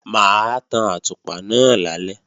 Mà á tan àtùpà náà lálẹ́